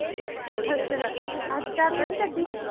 ਅੱਛਾ ਅੱਜ ਚਾਦਰ ਨੀ ਕੱਢੀ